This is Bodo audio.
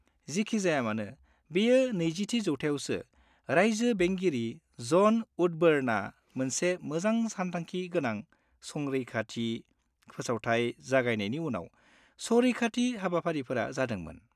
जिखिजायामानो, बेयो नैजिथि जौथाइयावसो रायजो बेंगिरि ज'न वुडबर्नआ मोनसे मोजां-सानथांखि गोनां संरैखाथि फोसावथाय जागायनायनि उनाव संरैखाथि हाबाफारिफोरा जादोंमोन।